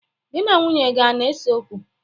Gị na nwunye gị ana-eseokwu?